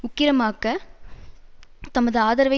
உக்கிரமாக்க தமது ஆதரவை